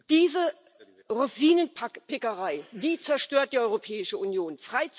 Diese Rosinenpickerei, die zerstört die Europäische Union.